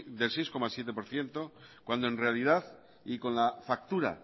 del seis coma siete por ciento cuando en realidad y con la factura